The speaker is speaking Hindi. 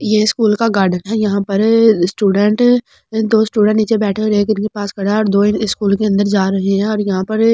ये स्कूल का गार्डन है यहां पर स्टूडेंट दो स्टूडेंट नीचे बैठे और एक इनके पास खड़ा है और दो स्कूल के अंदर जा रहे हैं और यहां पर --